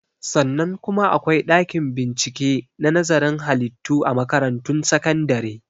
Sannan kuma akwai ɗakin bincike na nazarin halittu a makaratun sakandare